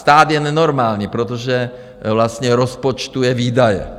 Stát je nenormální, protože vlastně rozpočtuje výdaje.